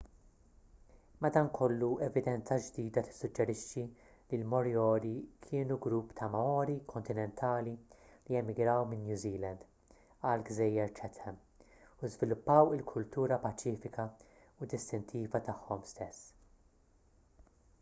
madankollu evidenza ġdida tissuġġerixxi li l-moriori kienu grupp ta' maori kontinentali li emigraw minn new zealand għall-gżejjer chatham u żviluppaw il-kultura paċifika u distintiva tagħhom stess